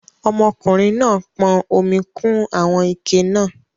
Ọmọkùnrin náà pọn omi kún àwọn ike náà